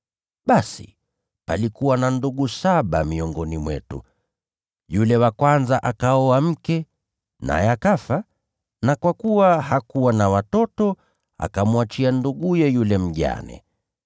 Basi palikuwa na ndugu saba miongoni mwetu. Yule wa kwanza akaoa mke, naye akafa, na kwa kuwa hakuwa na watoto, akamwachia nduguye yule mjane.